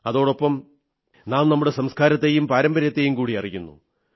അതോടൊപ്പം നാം നമ്മുടെ സംസ്കാരത്തെയും പാരമ്പര്യത്തെയും കൂടി അറിയുന്നു